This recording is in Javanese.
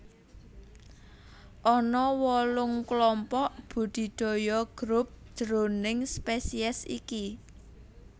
Ana wolung klompok budidaya Group jroning spesies iki